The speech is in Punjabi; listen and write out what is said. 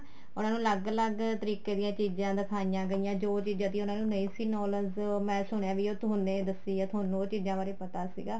ਉਹਨਾ ਨੂੰ ਅਲੱਗ ਅਲੱਗ ਤਰੀਕੇ ਦੀਆ ਚੀਜ਼ਾਂ ਦਿਖਾਈਆਂ ਗਈਆਂ ਜੋ ਚੀਜ਼ਾਂ ਦੀ ਉਹਨਾ ਨੂੰ ਨਹੀਂ ਸੀ knowledge ਉਹ ਮੈਂ ਸੁਣਿਆ ਹੈ ਵੀ ਉਹ ਤੁਹਾਨੇ ਦੱਸੀ ਏ ਤੁਹਾਨੂੰ ਉਹ ਚੀਜ਼ਾਂ ਬਾਰੇ ਪਤਾ ਸੀਗਾ